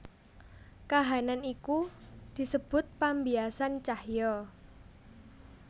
Kahanan iki disebut pambiasan cahya